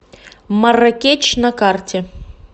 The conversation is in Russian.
марракеч на карте